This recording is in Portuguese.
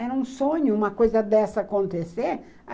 Era um sonho uma coisa dessa acontecer.